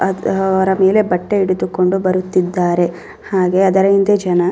ಅದ್ ಅವರ ಮೇಲೆ ಬಟ್ಟೆ ಹಿಡಿದುಕೊಂಡು ಬರುತ್ತಿದ್ದರೆ ಹಾಗೆ ಅದರ ಹಿಂದೆ ಜನ --